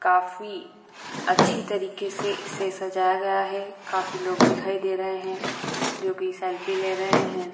काफी अच्छी तरीके से इसे सजाया गया है काफी लोग दिखाई दे रहे हैं जो की सेल्फी ले रहे हैं |